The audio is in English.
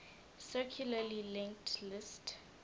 circularly linked list